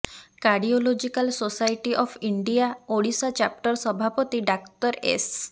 cardiological society of India Odisha chapter ସଭାପତି doctor S